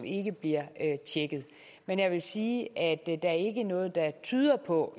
ikke bliver tjekket men jeg vil sige at der ikke er noget der tyder på